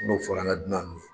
N'o fɔra an ka dunan nun ye.